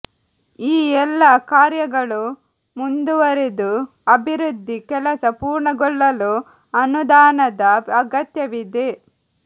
ಈ ಎಲ್ಲಾ ಕಾರ್ಯಗಳು ಮುಂದುವರಿದು ಅಭಿವೃದ್ಧಿ ಕೆಲಸ ಪೂರ್ಣಗೊಳ್ಳಲು ಅನುದಾನದ ಅಗತ್ಯವಿದೆ